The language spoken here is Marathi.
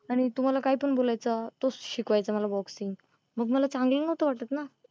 आणि तो मला काही पण बोलायचा तोच शिकवायचा मला boxing मग मला चांगलं नव्हत वाटत ना.